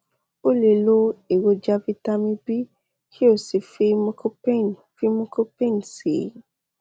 o lè lo èròjà vitamin b kí o sì fi mucopain fi mucopain sí i